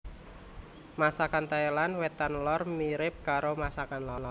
Masakan Thailand Wétan lor mirip karo masakan Laos